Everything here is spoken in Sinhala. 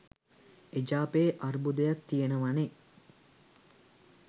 එජාපයේ අර්බුදයක් තියෙනවනේ